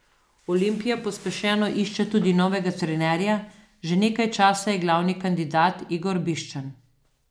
Olimpija pospešeno išče tudi novega trenerja, že nekaj časa je glavni kandidat Igor Biščan.